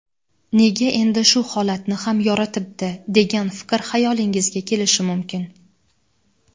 "Nega endi shu holatni ham yoritibdi" degan fikr hayolingizga kelishi mumkin.